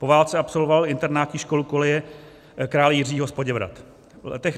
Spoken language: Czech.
Po válce absolvoval internátní školu Koleje krále Jiřího z Poděbrad.